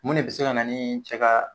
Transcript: Mun de be se kana nii cɛ ka